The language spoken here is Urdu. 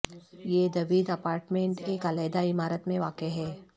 یہ دوید اپارٹمنٹ ایک علیحدہ عمارت میں واقع ہے